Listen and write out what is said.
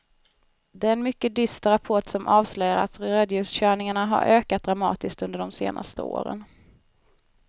Det är en mycket dyster rapport som avslöjar att rödljuskörningarna har ökat dramatiskt under de senaste åren.